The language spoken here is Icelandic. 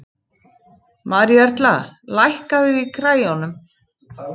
Maríuerla, lækkaðu í græjunum.